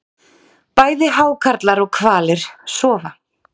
Bæði hákarlar og hvalir sofa.